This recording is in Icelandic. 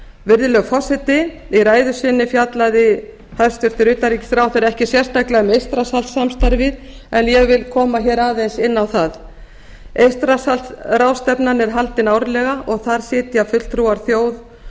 virðulegur forseti í ræðu sinni fjallaði hæstvirts utanríkisráðherra ekki sérstaklega um eystrasaltssamstarfið en ég vil koma hér aðeins inn á það eystrasaltsráðstefnan er haldin árlega og þar sitja fulltrúar þjóð